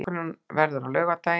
Leikurinn verður á laugardaginn.